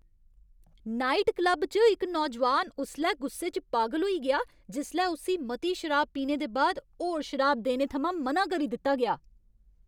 Night club च इक्क नौजोआन उसलै गुस्से च पागल होई गेआ जिसलै उस्सी मती शराब पीने दे बाद होर शराब देने थमां मना करी दित्ता गेआ।